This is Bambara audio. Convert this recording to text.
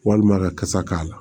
Walima kasa k'a la